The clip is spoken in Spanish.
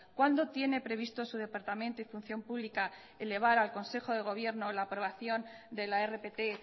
cuándo tiene previsto su departamento y función pública elevar al consejo de gobierno la aprobación de la rpt